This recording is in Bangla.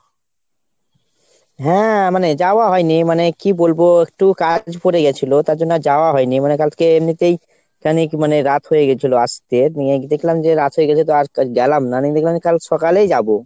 হ্যাঁ মানে যাওয়া হয়নি মানে, কী বলবো একটু কাজ পরে গেছিলো তার জন্য আর যাওয়া হয় নি। মানে কালকে এমনিতেই কেন কী মানে রাত হয়ে গেছিলো আসতে। নিয়ে দেখলাম যে রাত হয়ে গেছে তো আর গেলাম না নিয়ে দেখলাম যে কাল সকালেই যাবো।